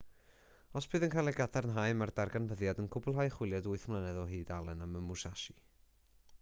os bydd yn cael ei gadarnhau mae'r darganfyddiad yn cwblhau chwiliad wyth mlynedd o hyd allen am y musashi